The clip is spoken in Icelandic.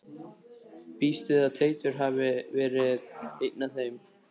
Ég býst við að Teitur hafi verið einn af þeim.